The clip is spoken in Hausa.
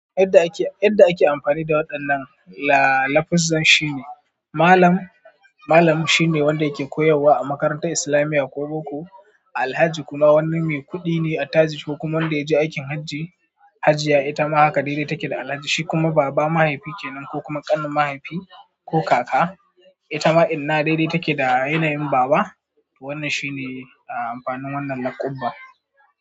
Yadda ake, yadda ake amfani da waɗannan la-lafuzzan shine Malam, Malam shine wanda yake koyarwa a makarantar islamiyya ko boko. Alhaji kuma wani mai kuɗi ne a taji ko kuma wanda ya je aikin hajji-hajjiya. Ita ma haka dai dai take da Alhaji, shi kuma baba mahaifi kenan ko kuma ƙanin mahaifi ko kaka. Ita ma inna dai dai take da yanayin baba. Wannan shine amfanin wannan laƙabba.